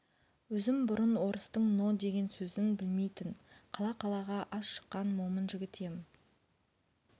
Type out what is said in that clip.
өзім бұрын орыстың но деген сөзін білмейтін қала-қалаға аз шыққан момын жігіт ем